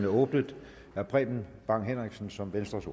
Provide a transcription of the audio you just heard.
åbnet herre preben bang henriksen som venstres